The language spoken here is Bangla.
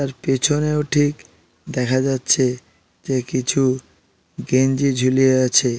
তার পেছনেও ঠিক দেখা যাচ্ছে যে কিছু গেঞ্জি ঝুলে আছে।